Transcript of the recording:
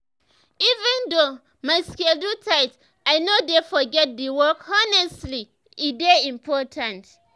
even though my schedule tight i no dey forget to walk honestly e dey important.